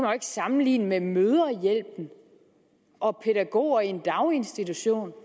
sammenligne med mødrehjælpen og pædagoger i en daginstitution